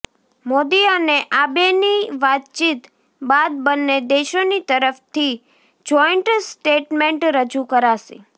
મોદી અને આબેની વાતચીત બાદ બંને દેશોની તરફથી જોઇન્ટ સ્ટેટમેન્ટ રજૂ કરાશે